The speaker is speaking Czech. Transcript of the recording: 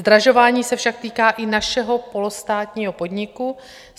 Zdražování se však týká i našeho polostátního podniku.